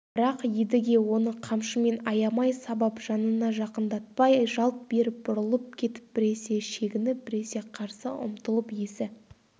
бірақ едіге оны қамшымен аямай сабап жанына жақындатпай жалт беріп бұрылып кетіп біресе шегініп біресе қарсы ұмтылып есі